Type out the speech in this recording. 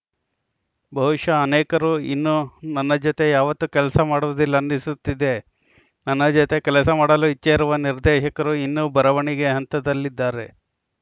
ಬಹುಶಃ ಅನೇಕರು ಇನ್ನು ನನ್ನ ಜೊತೆ ಯಾವತ್ತೂ ಕೆಲಸ ಮಾಡುವುದಿಲ್ಲ ಅನ್ನಿಸುತ್ತಿದೆ ನನ್ನ ಜೊತೆ ಕೆಲಸ ಮಾಡಲು ಇಚ್ಛೆ ಇರುವ ನಿರ್ದೇಶಕರು ಇನ್ನೂ ಬರವಣಿಗೆ ಹಂತದಲ್ಲಿದ್ದಾರೆ